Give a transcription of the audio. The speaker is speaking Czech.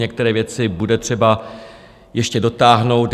Některé věci bude třeba ještě dotáhnout.